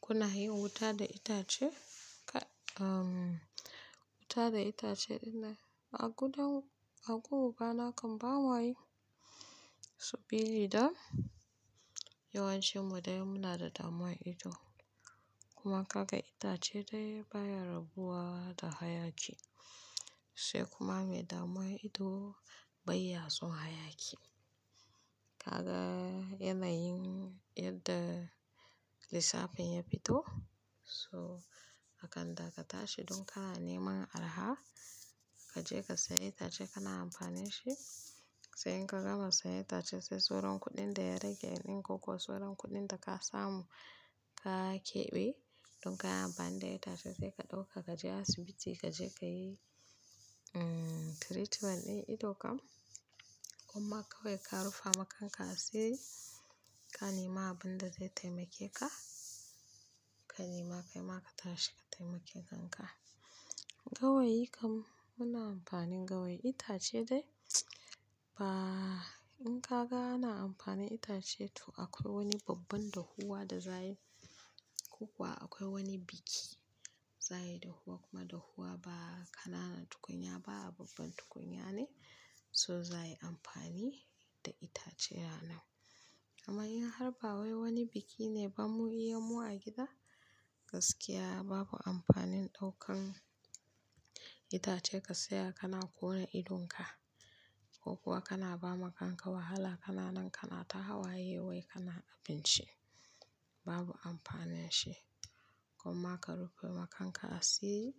Kuna yin wuta da itace? Wuta da itace dinnan a gudan-- a gun ubana kan bama yi. Subili da yawancin mu dai muna da damuwan ido. Kuma kaga itace dai baya rabuwa da hayaki. Sai kuma mai damuwan ido bai ya son hayaki. Kaga yanayin yadda lissafin ya fito, so akan da ka tashi dun kana neman araha kaje ka siya itace kana amfani shi. Sai in ka gama siya itace, sai sauran kuɗin da ya rage ya in, koko sauran kuɗin da ka samu ka keɓe, to in kayi amfani da ita sai ka ɗauka kaje asibiti kaje ka yi treatment din ido kan. Kuma kawai ka rufa ma kanka asi ka nema abin da zai taimake ka. Ka nema kai ma ka tashi ka taimake kanka. Gawayi kam, muna amfani gawayi itace dai ba, in ka ga ana amfani itace toh akwai wani babban dahuwa da za yi. Ko kuwa akwai wani biki za yi dahuwa, kuma dahuwa ba kanana tukunya ba a babban tukunya ne, so za yi amfani da itace ya nan. Amma in har ba wai wani biki ne ba mu iyamu a gida, gaskiya babu amfanin ɗaukan itace ka saya kana ƙona idonka. Ko kuwa kana ba ma kanka wahala, kana nan kana ta hawaye wai kana abinshi, babu amfanin shi. Kuma ka rufe ma kanka asi